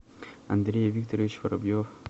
андрей викторович воробьев